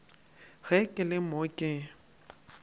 ge ke le mo ke